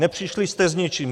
Nepřišli jste s ničím.